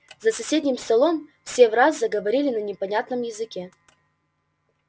за соседним столом все враз заговорили на непонятном языке